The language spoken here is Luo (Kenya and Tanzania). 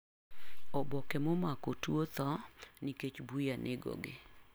Oboke momako tuo thoo nikech buya negogi.